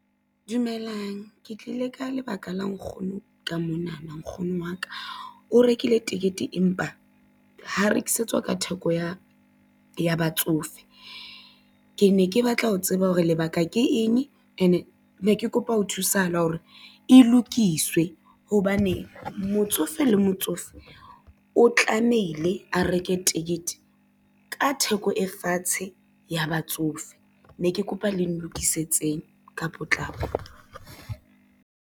Dumelang ke tlile ka lebaka la nkgono ka monana, nkgono wa ka. O rekile tekete empa ha rekisetswa ka theko ya batsofe. Ke ne ke batla ho tseba hore lebaka ke eng, ene ne ke kopa ho thusahala ho re e lokiswe hobane, motsofe le motsofe o tlamehile a reke tekete ka theko e fatshe ya batsofe, ne ke kopa le nlokisetseng ka potlako.